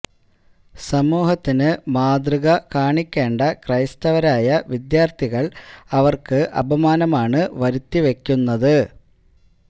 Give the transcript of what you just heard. സമൂഹത്തിന് മാതൃക കാണിക്കേണ്ട ക്രൈസ്തവരായ വിദ്യാര്ത്ഥികള് അവര്ക്ക് അപമാനമാണ് വരുത്തി വയ്ക്കുക്കുന്നത്